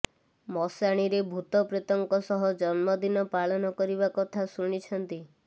ମଶାଣିରେ ଭୂତ ପ୍ରେତଙ୍କ ସହ ଜନ୍ମଦିନ ପାଳନ କରିବା କଥା ଶୁଣିଛନ୍ତି